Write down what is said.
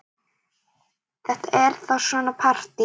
Þetta er þá svona partí!